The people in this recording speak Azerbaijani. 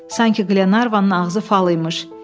Sanki Qlenarvanın ağzı fal imiş.